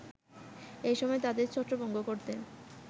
এ সময় তাদের ছত্রভঙ্গ করতে